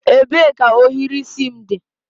Ebee ka ohiri isi m dị?